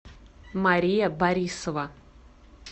мария борисова